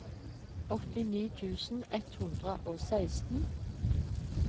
åttini tusen ett hundre og seksten